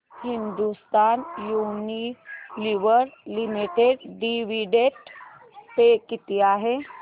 Hindustan Unilever Limited dividend pay किती आहे